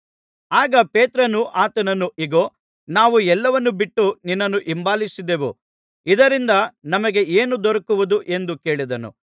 ಆಗ ಪೇತ್ರನು ಆತನನ್ನು ಇಗೋ ನಾವು ಎಲ್ಲವನ್ನೂ ಬಿಟ್ಟು ನಿನ್ನನ್ನು ಹಿಂಬಾಲಿಸಿದೆವು ಇದರಿಂದ ನಮಗೆ ಏನು ದೊರಕುವುದು ಎಂದು ಕೇಳಿದನು